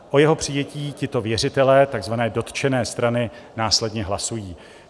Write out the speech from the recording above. O jeho přijetí tito věřitelé, takzvané dotčené strany, následně hlasují.